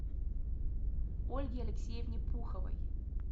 ольге алексеевне пуховой